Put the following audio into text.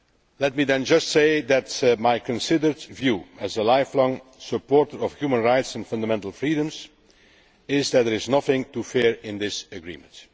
Let me then just say that my considered view, as a lifelong supporter of human rights and fundamental freedoms, is that there is nothing to fear in this agreement.